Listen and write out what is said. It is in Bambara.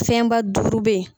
Fɛnba duuru bɛ ye